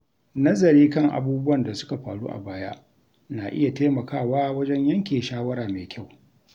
Nazari kan abubuwan da suka faru a baya na iya taimakawa wajen yanke shawara mai kyau.